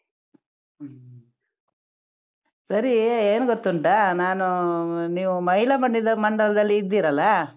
ಹ್ಮ್, ಸರಿ ಏನ್ ಗೊತ್ತುಂಟಾ ನಾನು ನೀವು ಮಹಿಳಾ ಮಂಡಲದಲ್ಲಿ ಇದ್ದೀರಲ್ಲಾ.